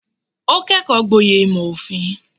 Ó kẹ́kọ̀ọ́ gboyè ìmò òfin.